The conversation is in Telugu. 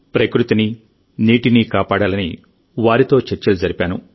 ప్రకృతిని నీటిని కాపాడాలని వారితో చర్చలు జరిపాను